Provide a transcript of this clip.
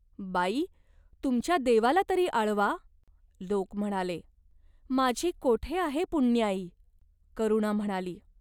"बाई, तुमच्या देवाला तरी आळवा !" लोक म्हणाले. "माझी कोठे आहे पुण्याई ?" करुणा म्हणालीं.